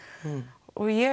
og ég